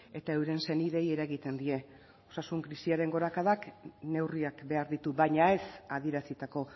eta euren senideei eragiten die osasun krisiaren gorakadak neurriak behar ditu baina ez adierazitako